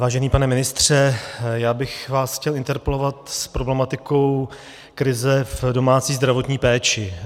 Vážený pane ministře, já bych vás chtěl interpelovat s problematikou krize v domácí zdravotní péči.